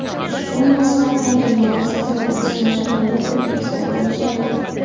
Ushbu mazhab vakillari asosan Pokiston shimoli va Tojikistonda yashaydi.